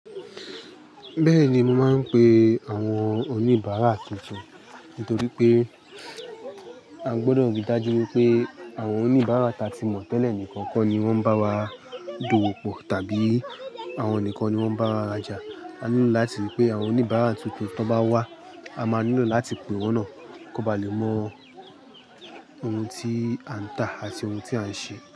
Bẹ́ẹ̀ni, mo máa ń pe àwọn oníbàárà tuntun nítorí pé a gbọdọ̀ rí i dájú wípé àwọn oníbàárà ta tí mọ̀ tẹ́lẹ̀ nìkan kọ́ ni wọ́n bá wa dowó pọ̀ tàbí àwọn nìkan ni wọ́n bá wa raja. A nílò láti rí i pé àwọn oníbàárà tuntun tó bá wá, a máa nílò láti pè wọ́n náà kó ba lè mọ ohun tí à ń tà àti ohun tí à ń ṣe.